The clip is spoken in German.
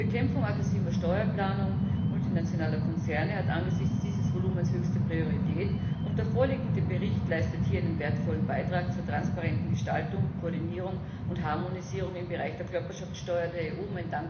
Die Bekämpfung aggressiver Steuerplanung multinationaler Konzerne hat angesichts dieses Volumens höchste Priorität, und der vorliegende Bericht leistet hier einen wertvollen Beitrag zur transparenten Gestaltung, Koordinierung und Harmonisierung im Bereich der Körperschaftsteuer der EU.